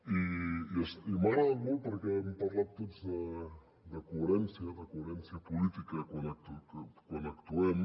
i m’ha agradat molt perquè hem parlat tots de coherència de coherència política quan actuem